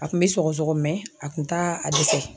A kun bɛ sɔgɔsɔgɔ a kun t'a a dɛsɛ